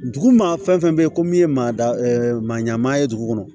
Dugu maa fɛn fɛn bɛ yen ko min ye maa da maa ɲanama ye dugu kɔnɔ